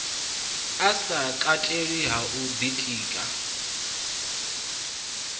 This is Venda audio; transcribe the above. sa katelwi ha u ḓitika